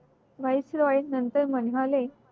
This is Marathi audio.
voice roy नंतर म्हणाले